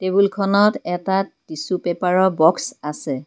টেবুলখনত এটা টিছু পেপাৰৰ বক্স আছে।